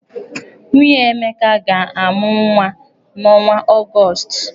Nwunye Emeka ga-amụ nwa n'ọnwa Ọgọọst.